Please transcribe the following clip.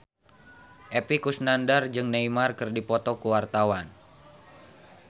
Epy Kusnandar jeung Neymar keur dipoto ku wartawan